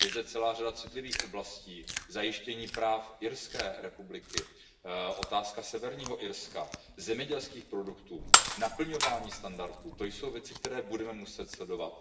Je zde celá řada citlivých oblastí, zajištění práv Irské republiky, otázka Severního Irska, zemědělských produktů, naplňování standardů, to jsou věci, které budeme muset sledovat.